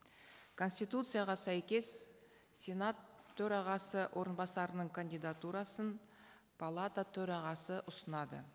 конституцияға сәйкес сенат төрағасы орынбасарының кандидатурасын палата төрағасы ұсынады